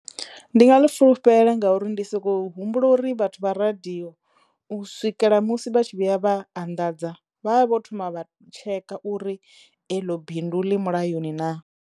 Ndi nga ḽi fulufhela ngauri ndi sokou humbula uri vhathu vha radiyo u swikela musi vha tshi vhuya vha anḓadza vhavha vho thoma vha tsheka uri eḽo bindu ḽi mulayoni naa.